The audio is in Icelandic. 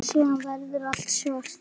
Síðan verður allt svart.